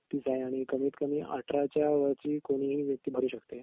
जास्तीत जास्त वय बत्तीस आणि कमीत कमी अठराव्यावरची कोणीही व्यक्ती भरू शकते